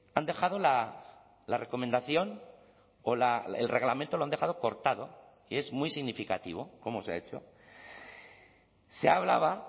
han dejado la recomendación o el reglamento lo han dejado cortado que es muy significativo como se ha hecho se hablaba